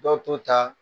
Dɔw t'o ta